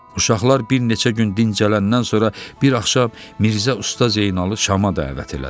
Uşaqlar bir neçə gün dincələndən sonra bir axşam Mirzə Usta Zeynalı Şama dəvət elədi.